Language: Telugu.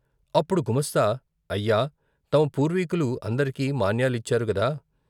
అప్పుడు గుమాస్తా అయ్యా తమ పూర్వీకులు అందరికీ మాన్యాలిచ్చారు గదా!